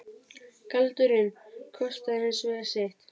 Galdurinn kostaði hins vegar sitt.